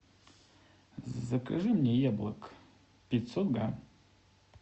закажи мне яблок пятьсот грамм